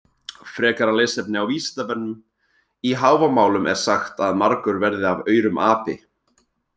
Frekara lesefni á Vísindavefnum: Í Hávamálum er sagt að margur verði af aurum api.